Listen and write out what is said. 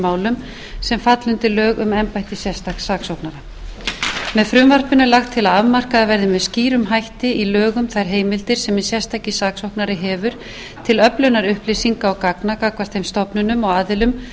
málum sem falla undir lög um embætti sérstaks saksóknara með frumvarpinu er lagt til að afmarkaðar verði með skýrum hætti í lögum þær heimildir sem hinn sérstaki saksóknari hefur til öflunar upplýsinga og gagna gagnvart þeim stofnunum og aðilum sem